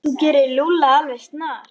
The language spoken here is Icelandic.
Þú gerir Lúlla alveg snar,